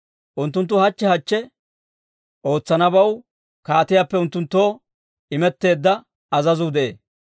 Unttunttu hachche hachche ootsanabaw kaatiyaappe unttunttoo imetteedda azazuu de'ee.